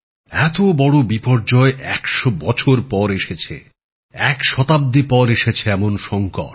এত বড় বিপর্যয় একশো বছর পর এসেছে এক শতাব্দী পর এসেছে এমন সংকট